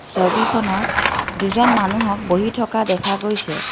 ছবিখনত দুজন মানুহক বহি থকা দেখা গৈছে।